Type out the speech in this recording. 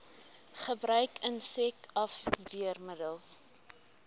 gebruik insek afweermiddels